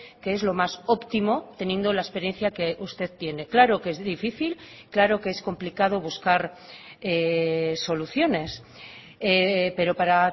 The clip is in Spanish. que es lo más óptimo teniendo la experiencia que usted tiene claro que es difícil claro que es complicado buscar soluciones pero para